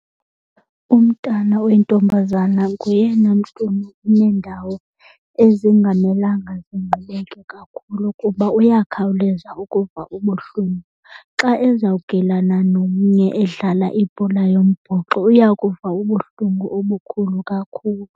Umntana oyintombazana ngoyena mntu uneendawo ezingamelanga zingqubeke kakhulu kuba uyakhawuleza ukuva ubuhlungu. Xa ezawugilana nomnye edlala ibhola yombhoxo uya kuva ubuhlungu obukhulu kakhulu.